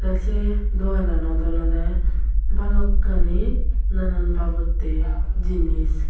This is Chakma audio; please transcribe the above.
se dogananot olodey balokkani nanan babotte jinis.